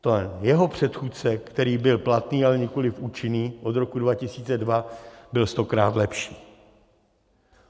Jeho předchůdce, který byl platný, ale nikoliv účinný, od roku 2002 byl stokrát lepší.